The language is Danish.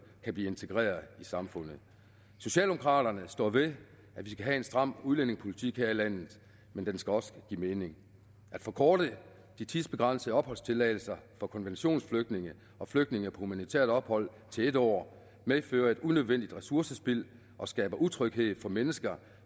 kan blive integreret i samfundet socialdemokraterne står ved at vi skal have en stram udlændingepolitik her i landet men den skal også give mening at forkorte de tidsbegrænsede opholdstilladelser for konventionsflygtninge og flygtninge på humanitært ophold til en år medfører et unødvendigt ressourcespild og skaber utryghed for mennesker